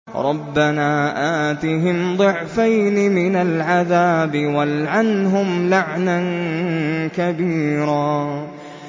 رَبَّنَا آتِهِمْ ضِعْفَيْنِ مِنَ الْعَذَابِ وَالْعَنْهُمْ لَعْنًا كَبِيرًا